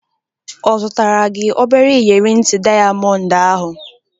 Ọ zụtara gị obere inyeri nti dịayamọnd ahụ?